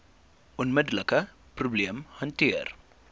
onmiddelike probleem hanteer